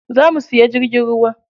Za mu siya jirgin ruwa